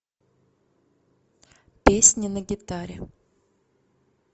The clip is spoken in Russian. песни на гитаре